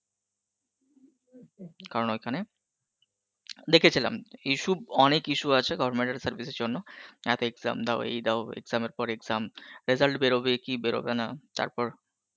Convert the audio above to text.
কারণ ঐখানে দেখেছিলাম issue অনেক issue আছে government এর service এর জন্য এত exam দাও এই দাও exam এর পর exam, result বেরোবে কি বেরোবে না তারপর